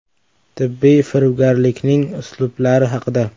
Tibbiy firibgarlikning uslublari haqida.